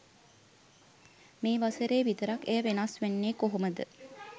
මේ වසරේ විතරක් එය වෙනස් වෙන්නේ කොහොමද?